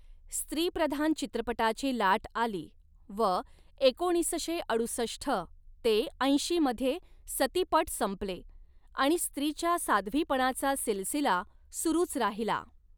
स्त्रीप्रधान चित्रपटाची लाट आली व एकोणीसशे अडुसष्ठ ते ऐंशी मध्ये सतीपट संपले आणि स्त्रीच्या साध्वीपणाचा सिलसिला सुरूच राहिला.